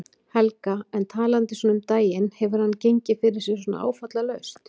Helga: En talandi svona um daginn, hefur hann gengið fyrir sig svona áfallalaust?